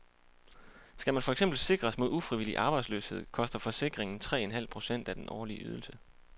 Skal man for eksempel sikres mod ufrivillig arbejdsløshed, koster forsikringen tre en halv procent af den årlige ydelse.